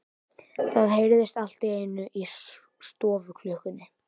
Það heyrðist allt í einu í stofuklukkunni.